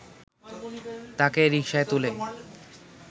তাঁকে রিকশায় তুলে